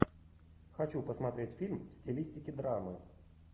хочу посмотреть фильм в стилистике драмы